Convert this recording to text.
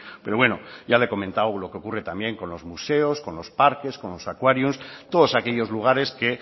pero bueno ya le he comentado lo que ocurre también con los museos con los parques con los acuarios todos aquellos lugares que